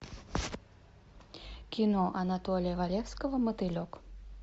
кино анатолия валевского мотылек